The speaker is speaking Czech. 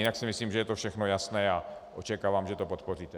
Jinak si myslím, že je to všechno jasné, a očekávám, že to podpoříte.